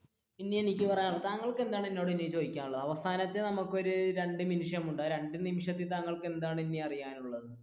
ഇനി എനിക്ക്, താങ്കൾക്ക് ഇനി എന്താണ് എന്നോട് ചോദിക്കാനുള്ളത് അവസാനത്തെ നമുക്ക് ഒരു രണ്ടു നിമിഷമുണ്ട് ആ രണ്ടു നിമിഷത്തിൽ താങ്കൾക്ക് എന്താണ് അറിയാനുള്ളത്?